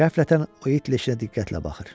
Qəflətən o it leşinə diqqətlə baxır.